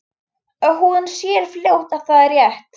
Og hún sér fljótt að það er rétt.